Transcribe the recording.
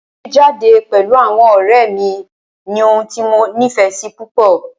Jíjade pẹ̀lú àwọn ọ̀rẹ́ mí ní ohun tí mo nífẹsí púpọ.